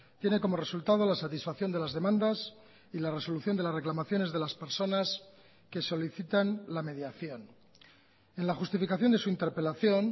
tiene como resultado la satisfacción de las demandas y la resolución de las reclamaciones de las personas que solicitan la mediación en la justificación de su interpelación